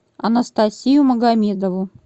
анастасию магомедову